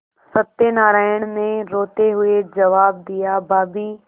सत्यनाराण ने रोते हुए जवाब दियाभाभी